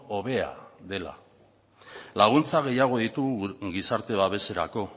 hobea dela laguntza gehiago ditugu gizarte babeserako